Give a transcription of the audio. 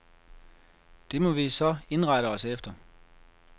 Det må vi så indrette os efter.